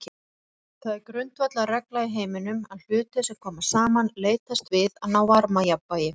Það er grundvallarregla í heiminum að hlutir sem koma saman leitast við að ná varmajafnvægi.